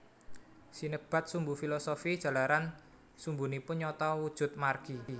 Sinebat sumbu filosofi jalaran sumbunipun nyata wujud margi